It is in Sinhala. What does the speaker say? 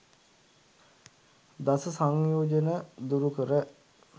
දස සංයෝජන දුරු කර